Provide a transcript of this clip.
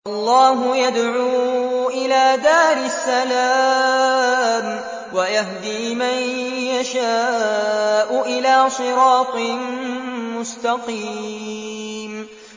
وَاللَّهُ يَدْعُو إِلَىٰ دَارِ السَّلَامِ وَيَهْدِي مَن يَشَاءُ إِلَىٰ صِرَاطٍ مُّسْتَقِيمٍ